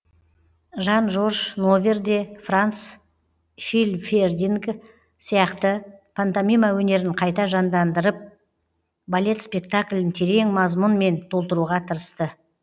жан жорж новер де франц хильфердинг сияқты пантомима өнерін қайта жандандырьп балет спектаклін терең мазмұнмен толтыруға тырысты